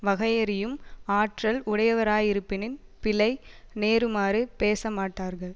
வகையறியும் ஆற்றல் உடையவராயிருப்பின் பிழை நேருமாறு பேச மாட்டார்கள்